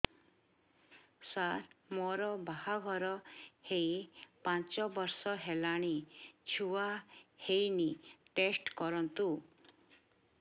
ସାର ମୋର ବାହାଘର ହେଇ ପାଞ୍ଚ ବର୍ଷ ହେଲାନି ଛୁଆ ହେଇନି ଟେଷ୍ଟ କରନ୍ତୁ